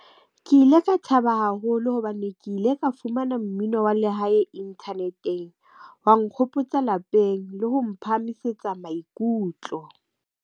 Ke ile ka thaba haholo hobane ke ile ka fumana mmino wa lehae inthaneteng wa nkgopotsa lapeng le ho mo phahamisetsa maikutlo.